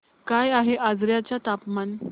काय आहे आजर्याचे तापमान